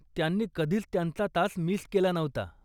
त्यांनी कधीच त्यांचा तास मिस केला नव्हता.